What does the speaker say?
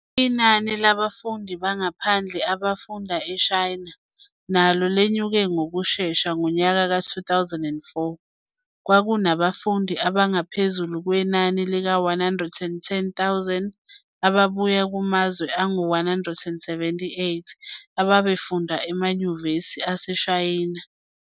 Inani labafundi bangaphandle abafunda eShayina, nalo lenyuke ngokushesha, ngonyaka ka 2004, kwakunabafundi abangaphezulu kwenani lika 110 000 ababuye kumazwe angu 178, ababefunda emayunivesithi aseShayina.